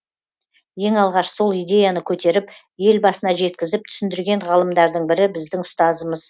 ең алғаш сол идеяны көтеріп елбасына жеткізіп түсіндірген ғалымдардың бірі біздің ұстазымыз